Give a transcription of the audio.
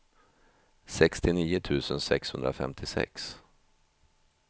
sextionio tusen sexhundrafemtiosex